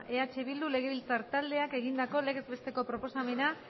eh bildu legebiltzar taldeak egindako legez besteko proposamena